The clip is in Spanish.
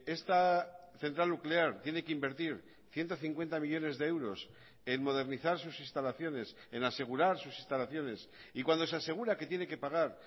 esta central nuclear tiene que invertir ciento cincuenta millónes de euros en modernizar sus instalaciones en asegurar sus instalaciones y cuando se asegura que tiene que pagar